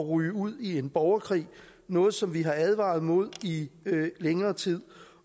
ryge ud i en borgerkrig noget som vi har advaret mod i længere tid